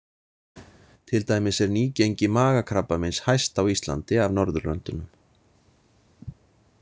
Til dæmis er nýgengi magakrabbameins hæst á Íslandi af Norðurlöndunum.